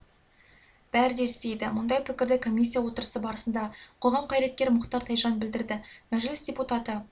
бәрі де істейді мұндай пікірді комиссия отырысы барысында қоғам қайраткері мұхтар тайжан білдірді мәжіліс депутаты